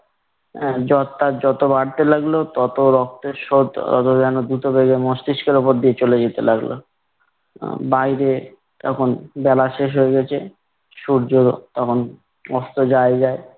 জ্বর তার যত বাড়তে লাগলো তত রক্তের স্রোত তত যেন দ্রুত বেগে মস্তিষ্কের উপর দিয়ে চলে যেতে লাগলো। বাইরে তখন বেলা শেষ হয়ে গিয়েছে সূর্য তখন অস্ত যায় যায়।